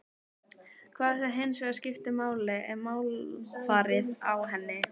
Það sem hins vegar skiptir máli er málfarið á henni.